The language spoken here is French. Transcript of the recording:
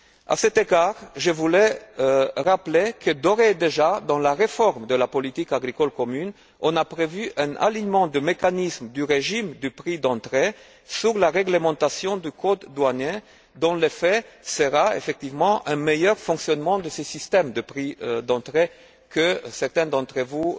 À cet égard, je voulais rappeler que, d'ores et déjà, dans la réforme de la politique agricole commune, on a prévu un alignement du mécanisme de prix d'entrée sur la réglementation du code douanier, dont l'effet sera effectivement un meilleur fonctionnement de ce système de prix d'entrée que certains d'entre vous